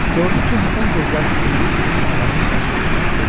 Gördü ki, Həsən gözlərini zilləyib onun ağarmış qaşlarına, dedi.